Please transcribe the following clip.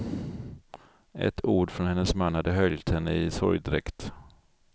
Ett ord från hennes man hade höljt henne i sorgdräkt.